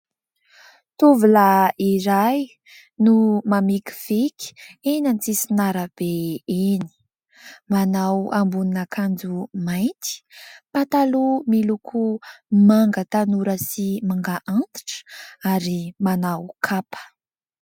Tovolahy iray no mamikiviky eny an-tsisin'arabe eny, manao ambonin'akanjo mainty, pataloha miloko manga tanora sy manga antitra ary manao kapa.